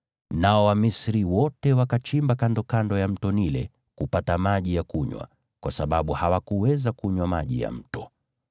Nao Wamisri wote wakachimba kandokando ya Mto Naili kupata maji ya kunywa, kwa sababu hawakuweza kunywa maji ya mto.